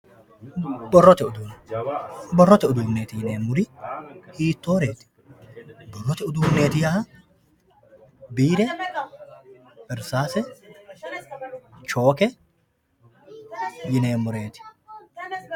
Borrote uduune, borrote uduuneti yineemmori hiittoreti, borrote uduuneti yaa biire, irsase, choke yineemmoreti.